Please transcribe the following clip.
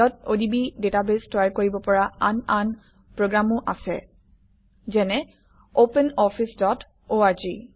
odb database তৈয়াৰ কৰিব পৰা আন আন প্ৰগ্ৰামো আছে যেনে - OpenOfficeorg